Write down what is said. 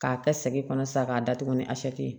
K'a kɛ sɛgi kɔnɔ sisan k'a datugu ni ye